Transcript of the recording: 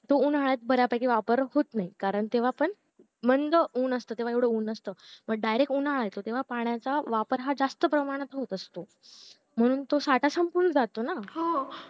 तो उन्हाळ्यात बऱ्यापैकी वापर होत नाही कारण तेव्हा पण मंद ऊन असत तेव्हा एवढं ऊन नसत पण direct उन्हाळा येतो तेव्हा पाण्याचा वापर हा जास्त प्रेमात होत असतो म्हणून तो साठा संपून जातो ना